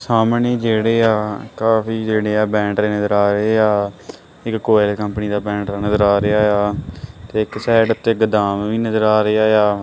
ਸਾਹਮਣੇ ਜੇਹੜੇਆ ਕਾਫੀ ਜੇਹੜੇ ਆ ਬੈਟਰੇ ਨਜ਼ਰ ਆ ਰਹੇ ਆ ਇੱਕ ਕ੍ਵਾਲ ਕੰਪਨੀ ਦਾ ਬੈਟਰਾਂ ਨਜ਼ਰ ਆ ਰਿਹਾ ਯਾ ਤੇ ਇੱਕ ਸਾਈਡ ਤੇ ਗੋਦਾਮ ਵੀ ਨਜਰ ਆ ਰਿਹਾ ਯਾ।